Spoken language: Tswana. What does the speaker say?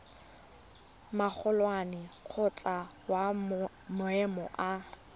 magolwane kgotsa wa maemo a